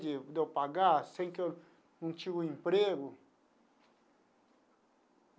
De de eu pagar sem que eu não tinha um emprego.